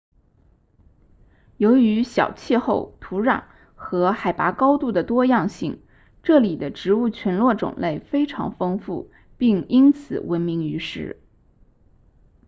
由于小气候土壤和海拔高度的多样性这里的植物群落种类非常丰富并因此闻名于世